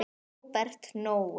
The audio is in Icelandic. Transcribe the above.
Húbert Nói.